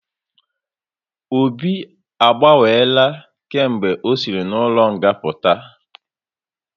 Obi a gbanwela kemgbe ọ sịri n'ụlọ nga puta